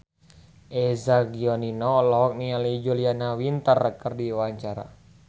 Eza Gionino olohok ningali Julia Winter keur diwawancara